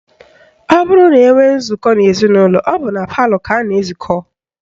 Ọ bụrụ na enwee nzụkọ n'ezinụlọ, ọ bụ na palọ ka a na-ezukọ